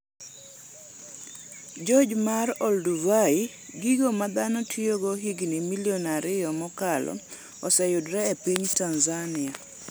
Gorge mar Olduvai: Gigo ma dhano tiyogo higni milion ariyo mokalo oseyudore e piny Tanzania